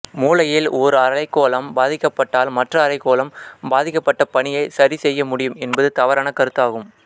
மூளையின் ஓர் அரைக்கோளம் பாதிக்கப்பட்டால் மற்ற அரைக்கோளம் பாதிக்கப்பட்ட பணியைச் சரிசெய்ய முடியும் என்பது தவறான கருத்தாகும்